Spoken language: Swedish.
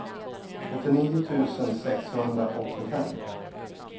åttionio tusen sexhundraåttiofem